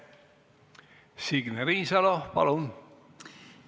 Signe Riisalo, palun!